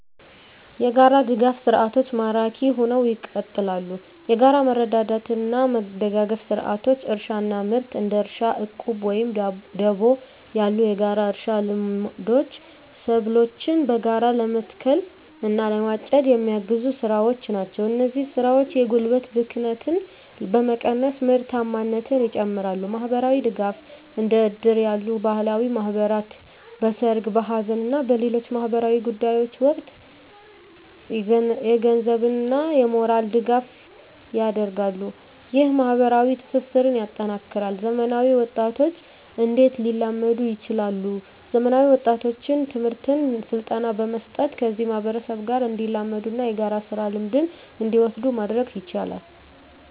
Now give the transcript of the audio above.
**የጋራ ድጋፍ ሰርዓቶች ማራኪ ሁነው ይቀጥላሉ፤ የጋራ መረዳዳትና መደጋገፍ ስርዓቶች: * እርሻና ምርት: እንደ እርሻ ዕቁብ ወይም ደቦ ያሉ የጋራ እርሻ ልምዶች ሰብሎችን በጋራ ለመትከል እና ለማጨድ የሚያግዙ ስራዎች ናቸው። እነዚህ ስራዎች የጉልበት ብክነትን በመቀነስ ምርታማነትን ይጨምራሉ። * ማህበራዊ ድጋፍ: እንደ እድር ያሉ ባህላዊ ማህበራት በሠርግ፣ በሐዘን እና በሌሎች ማኅበራዊ ጉዳዮች ወቅት የገንዘብና የሞራል ድጋፍ ያደርጋሉ። ይህ ማኅበራዊ ትስስርን ያጠናክራል። *ዘመናዊ ወጣቶች እንዴት ሊላመዱ ይችላሉ፤ ዘመናዊ ወጣቶችን ትምህርትና ስልጠና በመስጠት ከዚህ ማህበረሰብ ጋር እንዲላመዱና የጋራ ስራ ልምድን እንዲወስዱ ማድረግ ይቻላል።